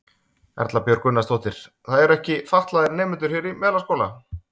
Erla Björg Gunnarsdóttir: Það eru ekki fatlaðir nemendur hér í Melaskóla?